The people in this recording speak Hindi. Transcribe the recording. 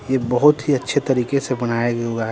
ये बहुत ही अच्छे तरीके से बनाए --